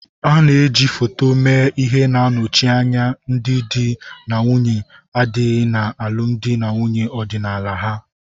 A na eji foto mee ihe na-anọchi anya ndị di na nwunye adịghị na alụmdi na nwunye ọdịnala ha.